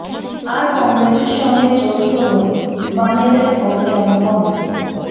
আর কংগ্রেসের সঙ্গে জোট করেও বামেদের ভোট কেন কমে